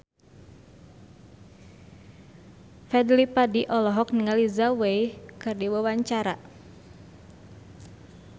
Fadly Padi olohok ningali Zhao Wei keur diwawancara